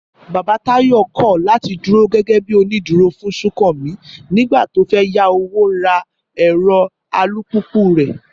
Bàbá Táyọ̀ kọ̀ láti dúró gẹ́gẹ́ bí onídùúró fún Súnkànmí nígbà tó fẹ́ yá owó ra ẹ̀rọ alùpùpù rẹ̀